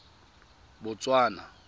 botswana